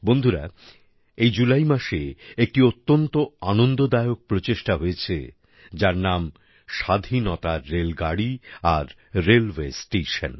বন্ধুরা এই জুলাই মাসে একটি অত্যন্ত আনন্দদায়ক প্রচেষ্টা হয়েছে যার নাম স্বাধীনতার রেলগাড়ি আর রেলওয়ে স্টেশন